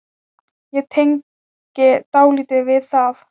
Ég tengi dálítið við það.